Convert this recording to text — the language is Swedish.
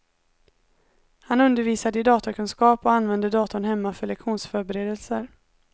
Han undervisade i datakunskap och använde datorn hemma för lektionsförberedelser.